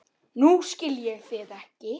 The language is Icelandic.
Nú skil ég þig ekki.